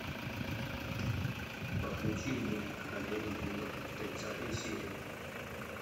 подключи мульт королева юга тридцатая серия